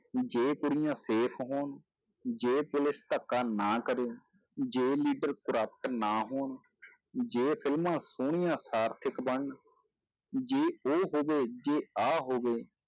ਜੇ ਕੁੜੀਆਂ safe ਹੋਣ, ਜੇ ਪੁਲਿਸ ਧੱਕਾ ਨਾ ਕਰੇ, ਜੇ leader corrupt ਨਾ ਹੋਣ ਜੇ ਫਿਲਮਾਂ ਸੋਹਣੀਆਂ ਸਾਰਥਕ ਬਣਨ, ਜੇ ਉਹ ਹੋਵੇ, ਜੇ ਆਹ ਹੋਵੇ,